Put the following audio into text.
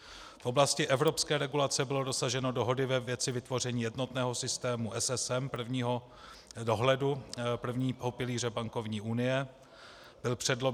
V oblasti evropské regulace bylo dosaženo dohody ve věci vytvoření jednotného systému SSM, prvního dohledu, prvního pilíře bankovní unie.